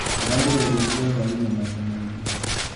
Ndĩraruga irio cia hwainĩ maita maingĩ.